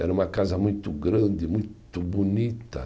Era uma casa muito grande, muito bonita.